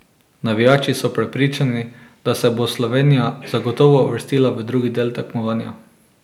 Navijači so prepričani, da se bo Slovenija zagotovo uvrstila v drugi del tekmovanja.